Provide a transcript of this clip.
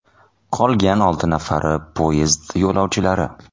Qolgan olti nafari poyezd yo‘lovchilari.